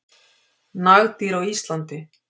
Nagdýr á Íslandi.